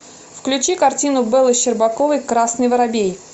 включи картину беллы щербаковой красный воробей